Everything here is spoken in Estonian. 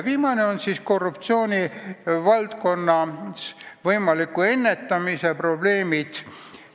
Viimasena räägin korruptsiooni ennetamise probleemidest.